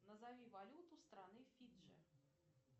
назови валюту страны фиджи